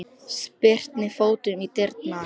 Spyrnir fótunum í dyrnar.